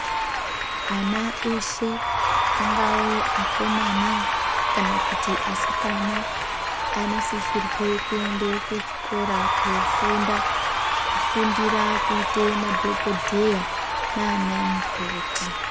Ana eshe angawe akomana kana asikana anosisirwe kuenda kuchikora kofunda kufundira kuite madhokodheya naana mukoti.